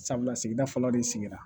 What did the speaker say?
Sabula sigida fɔlɔ de sigira